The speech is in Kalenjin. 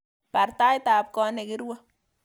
Baar taitab koot negirue